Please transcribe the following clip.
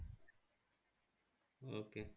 Okay.